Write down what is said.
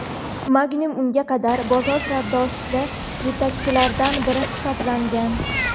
Magnum unga qadar bozor savdosida yetakchilardan biri hisoblangan.